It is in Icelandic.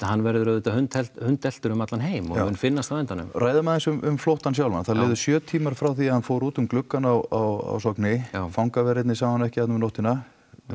hann verður auðvitað hundeltur hundeltur um allan heim og mun finnast á endanum ræðum aðeins um flóttann sjálfan það liður sjö tímar frá því að hann fór út um gluggann á Sogni fangaverðir sáu hann ekki þarna um nóttina